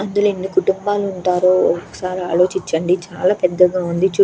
అందులో ఎన్ని కుటుంబాలు ఉంటారో ఒకసారి ఆలోచించండి. చాల పెద్దగా ఉంది చుటూ --